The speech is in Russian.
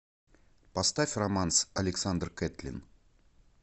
поставь романс александр кэтлин